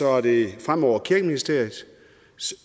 er det fremover kirkeministeriet kirkeministeriets